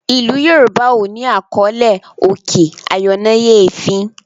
ilú yorùbá o ní àkọlé òkè ayọnáyèéfín.